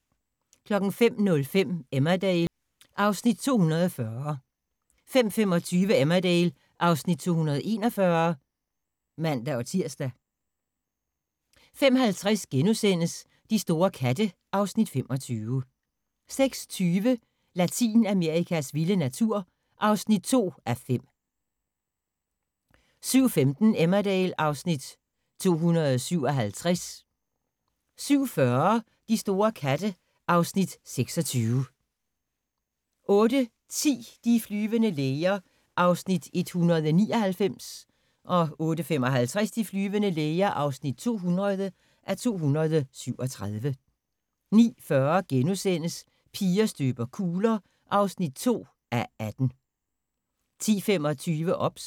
05:05: Emmerdale (Afs. 240) 05:25: Emmerdale (Afs. 241)(man-tir) 05:50: De store katte (Afs. 25)* 06:20: Latinamerikas vilde natur (2:5) 07:15: Emmerdale (Afs. 257) 07:40: De store katte (Afs. 26) 08:10: De flyvende læger (199:237) 08:55: De flyvende læger (200:237) 09:40: Piger støber kugler (2:18)* 10:25: OBS